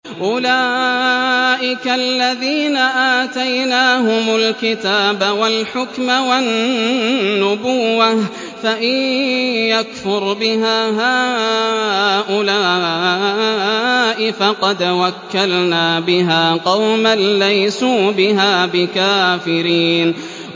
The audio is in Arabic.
أُولَٰئِكَ الَّذِينَ آتَيْنَاهُمُ الْكِتَابَ وَالْحُكْمَ وَالنُّبُوَّةَ ۚ فَإِن يَكْفُرْ بِهَا هَٰؤُلَاءِ فَقَدْ وَكَّلْنَا بِهَا قَوْمًا لَّيْسُوا بِهَا بِكَافِرِينَ